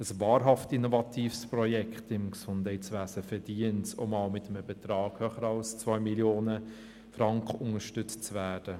Einerseits verdient es ein wahrhaft innovatives Projekt im Gesundheitswesen, auch einmal mit einem Betrag über 2 Mio. Franken unterstützt zu werden.